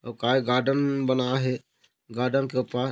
ओ का हे गार्डेन बनाये हे गार्डेन के ओ पार--